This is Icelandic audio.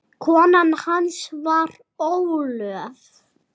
Kona hans var Ólöf